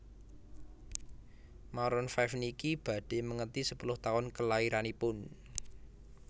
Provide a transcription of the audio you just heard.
Maroon five niki badhe mengeti sepuluh taun kelairanipun